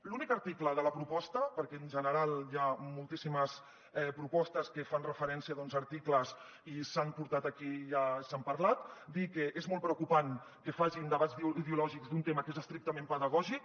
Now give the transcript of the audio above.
l’únic article de la proposta perquè en general hi ha moltíssimes propostes que fan referència a articles que s’han portat aquí i que se n’ha parlat dir que és molt preocupant que facin debats ideològics d’un tema que és estrictament pedagògic